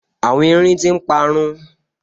Àwọn erin tí n parun